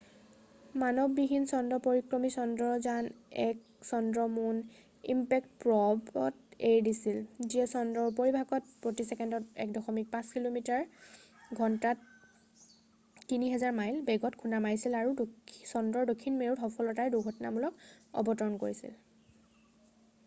মানৱবিহীন চন্দ্ৰ পৰিক্ৰমী চন্দ্ৰয়ান-1 চন্দ্ৰ মুন ইমপেক্ট প্ৰ'ব mipত এৰি দিছিল যিয়ে চন্দ্ৰৰ উপৰিভাগত প্ৰতি চেকেণ্ডত 1.5 কিলোমিটাৰ প্ৰতি ঘণ্টাত 3000 মাইল বেগত খুন্দা মাৰিছিল আৰু চন্দ্ৰৰ দক্ষিণ মেৰুত সফলতাৰে দুৰ্ঘটনামূলক অৱতৰণ কৰিছিল।